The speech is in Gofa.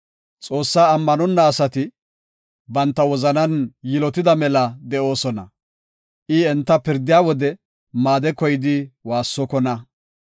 “Xoossaa ammanonna asati banta wozanan yilotida mela de7oosona; I enta pirdiya wode maade koyidi woossokona.